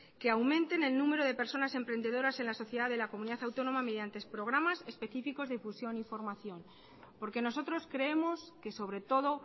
que aumenten el número de personas emprendedoras en la sociedad de la comunidad autónoma mediante programas específicos de difusión y formación porque nosotros creemos que sobre todo